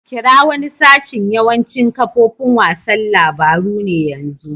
Kira wani sashin yawancin kafofin wasan labaru ne yanzu.